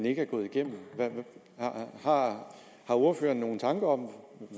ikke er gået igennem har ordføreren nogle tanker om